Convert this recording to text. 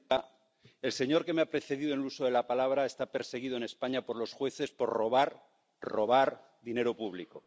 Señora presidenta, el señor que me ha precedido en el uso de la palabra está perseguido en España por los jueces por robar, robar dinero público.